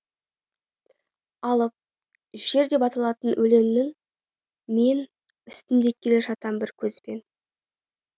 алып жер деп аталатын өлеңнің мен үстінде келе жатам бір көзбен